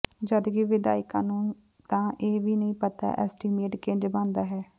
ਜਦਕਿ ਵਿਧਾਇਕਾ ਨੂੰ ਤਾਂ ਇਹ ਵੀ ਨਹੀਂ ਪਤਾ ਐਸਟੀਮੇਟ ਕਿੰਝ ਬਣਦਾ ਹੈ